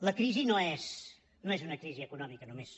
la crisi no és una crisi econòmica només